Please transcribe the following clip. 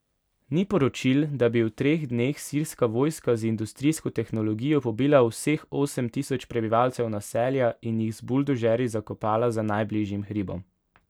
Ni poročil, da bi v treh dneh sirska vojska z industrijsko tehnologijo pobila vseh osem tisoč prebivalcev naselja in jih z buldožerji zakopala za najbližjim hribom.